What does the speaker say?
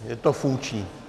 Je to funkční?